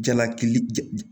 Jalaki ja